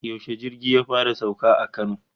Yaushe jirgi ya fara sauka a Kano?